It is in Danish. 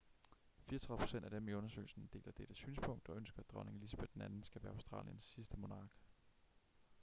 34 procent af dem i undersøgelsen deler dette synspunkt og ønsker at dronning elizabeth ii skal være australiens sidste monark